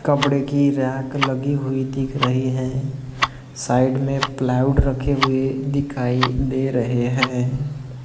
कपड़े की रैक लगी हुई दिख रही हैं साइड मे प्लाऊड रखे हुए दिखाई दे रहे हैं।